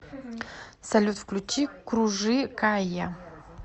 салют включи кружи кая